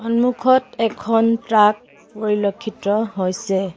সন্মুখত এখন ট্ৰাক পৰিলক্ষিত হৈছে।